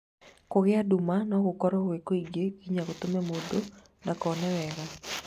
Kũgia nduma no gũkorwo gwĩ kũingĩ ginya gũtũme mũndũ ndakone wega